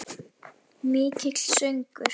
Mikill söngur.